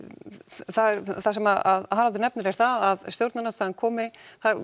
það sem Haraldur nefnir er það að stjórnarandstaðan komi